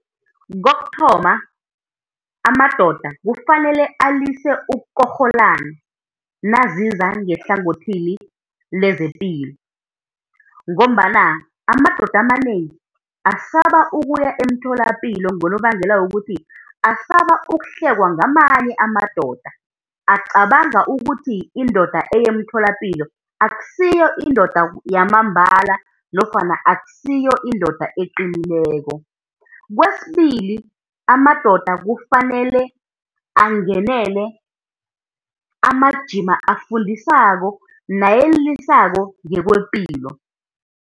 Kokuthoma amadoda kufanele alise ukukorholana naziza ngehlangothini lezepilo, ngombana amadoda amanengi asaba ukuya emtholapilo ngonobangela wokuthi asaba ukuhlekwa ngamanye amadoda, acabanga ukuthi indoda eya emtholapilo akusiyo indoda yamambala nofana akusiyo indoda eqinileko. Kwesibili amadoda kufanele angenele amajima afundisako nayelelisako ngokwepilo.